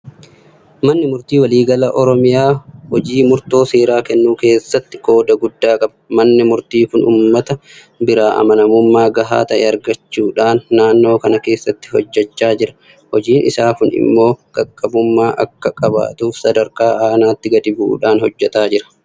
Manni Murtii waliigala Oromiyaa hojii murtoo seeraa kennuu keessatti qooda guddaa qaba. Manni murtii kun uummata biraa amanamummaa gahaa ta'e argachuudhaan naannoo kana keessatti hojjechaa jira. Hojiin isaa kun immoo qaqqabummaa akka qabaatuuf sadarkaa aanaatti gadi bu'uudhaan hojjeta.